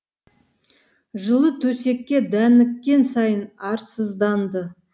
жылы төсекке дәніккен сайын арсызданды